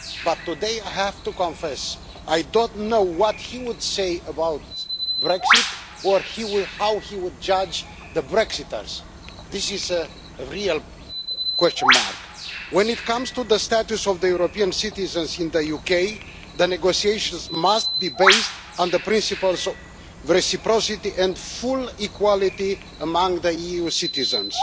But today I have to confess that I don't know what he would say about Brexit or how he would judge the Brexiters. This is a real question mark. When it comes to the status of the European citizens in the UK, the negotiations must be based on the principles of reciprocity and full equality among EU citizens.